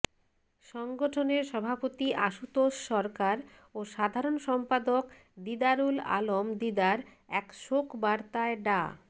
সংগঠনের সভাপতি আশুতোষ সরকার ও সাধারণ সম্পাদক দিদারুল আলম দিদার এক শোক বার্তায় ডা